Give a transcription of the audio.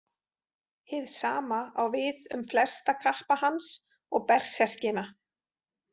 Hið sama á við um flesta kappa hans og berserkina.